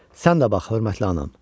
Sən də bax, hörmətli anam!